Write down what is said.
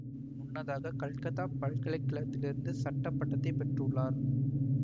முன்னதாக கல்கத்தா பல்கலைக்கழகத்திலிருந்து சட்ட பட்டத்தை பெற்றுள்ளார்